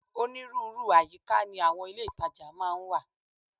Onírúurú àyíká ni àwọn ilé ìtajà máa ń wà